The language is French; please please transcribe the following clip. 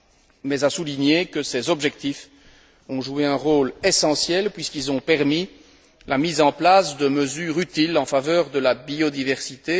Il a toutefois souligné que ces objectifs ont joué un rôle essentiel puisqu'ils ont permis la mise en place de mesures utiles en faveur de la biodiversité.